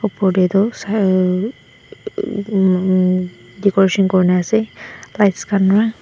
opor tae toh Sai emmm decoration kurina ase lights khan pa.